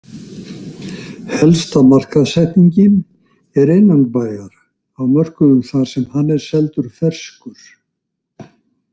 Helsta markaðssetningin er innanbæjar á mörkuðum þar sem hann er seldur ferskur.